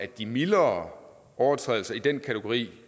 de mildere overtrædelser i den kategori